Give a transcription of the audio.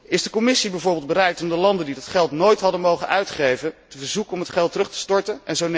Is de Commissie bijvoorbeeld bereid om de landen die dat geld nooit hadden mogen uitgeven, te verzoeken om het geld terug te storten?